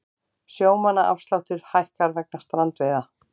Sjómannaafsláttur hækkar vegna strandveiða